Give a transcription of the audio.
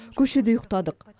көшеде ұйықтадық